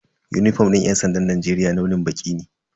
Unifom din yan sandan Najeriya launin baƙi ne.